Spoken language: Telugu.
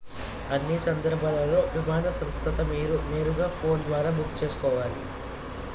అన్ని సందర్భాలలో విమాన సంస్థతో మీరు నేరుగా ఫోన్ ద్వారా బుక్ చేసుకోవాలి